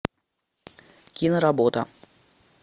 киноработа